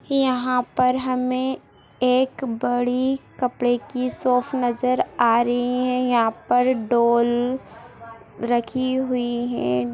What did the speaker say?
यहाँ पर हमें एक बड़ी कपड़े की शॉप नजर आ रही है| यहाँ पर डॉल रखी हुए है।